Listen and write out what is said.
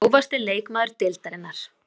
Grófasti leikmaður deildarinnar?